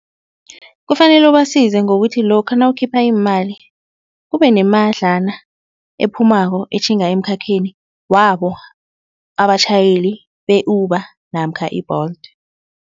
Kufanele ubasize ngokuthi lokha nawukhipha iimali kube kunemadlana ephumako etjhinga emkhakheni wabo abatjhayeli be-Uber namkha i-Bolt.